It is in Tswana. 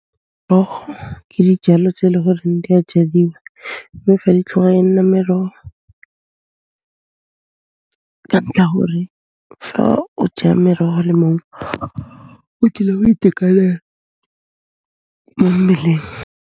Merogo ke dijalo tse e le goreng di a jadiwa mme fa di e nna meroho ka ntlha ya gore fa o ja meroho le maungo, o tlile go itekanela mo mmeleng.